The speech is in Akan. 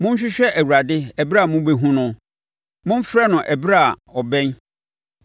Monhwehwɛ Awurade ɛberɛ a mobɛhunu no. Momfrɛ no ɛberɛ a ɔbɛn.